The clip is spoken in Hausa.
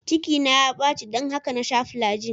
Cikina ya baci don haka na sha flagyl.